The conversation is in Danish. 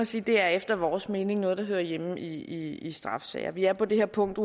sige er efter vores mening noget der hører hjemme i straffesager vi er på det her punkt